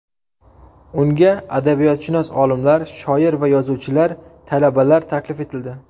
Unga adabiyotshunos olimlar, shoir va yozuvchilar, talabalar taklif etildi.